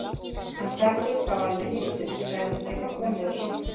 Hann stakk upp á að við hittumst, sagðist geta komið og sótt mig.